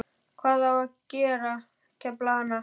Hvað á ég að gera, kefla hana?